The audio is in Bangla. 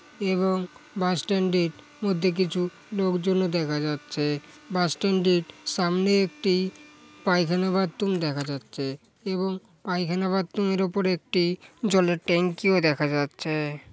এবং বাস স্ট্যান্ড -এর মধ্যে কিছু লোকজনও দেখা যাচ্ছে। বাস স্ট্যান্ড -এর সামনে একটি পায়খানা বাথরুম দেখা যাচ্ছে এবং পায়খানা বাথরুম -এর উপর একটি জলের ট্যাংক দেখা যাচ্ছে ।